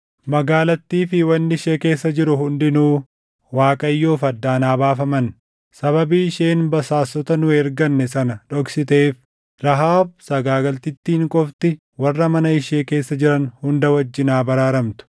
Magaalattii fi wanni ishee keessa jiru hundinuu Waaqayyoof addaan haa baafaman. Sababii isheen basaastota nu erganne sana dhoksiteef, Rahaab sagaagaltittiin qofti warra mana ishee keessa jiran hunda wajjin haa baraaramtu.